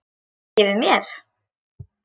Baki við mér?